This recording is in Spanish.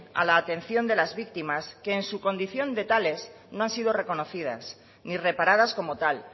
a la atención de las víctimas que en su condición de tales no han sido reconocidas ni reparadas como tal